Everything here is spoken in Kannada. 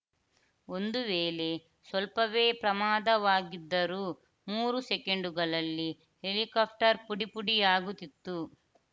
ಒಂದು ವೇಳೆ ಸ್ವಲ್ಪವೇ ಪ್ರಮಾದವಾಗಿದ್ದರೂ ಮೂರು ಸೆಕೆಂಡ್‌ಗಳಲ್ಲಿ ಹೆಲಿಕಾಪ್ಟರ್‌ ಪುಡಿ ಪುಡಿಯಾಗುತ್ತಿತ್ತು